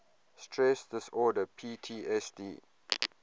stress disorder ptsd